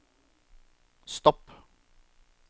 stopp